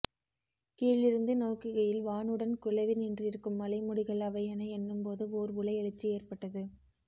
கீழிருந்து நோக்குகையில் வானுடன் குலவி நின்றிருக்கும் மலைமுடிகள் அவை என எண்ணும்போது ஓர் உளஎழுச்சி ஏற்பட்டது